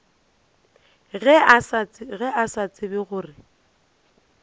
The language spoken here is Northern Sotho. ge a sa tsebe gore